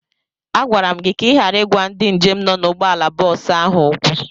Agwara m gị ka ị ghara ịgwa ndị njem nọ na ụgbọala bọọsụ ahụ okwu!